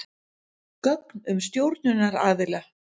Gögn um stjórnunaraðila.